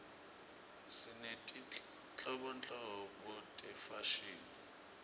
sinetinhlobonhlobo tefashini